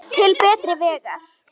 Til betri vegar.